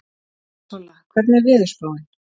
Solla, hvernig er veðurspáin?